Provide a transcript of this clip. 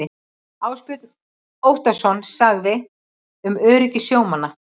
Ásbjörn Óttarsson sagði um öryggi sjómanna.